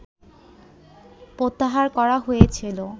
প্রত্যাহার করা হয়েছিল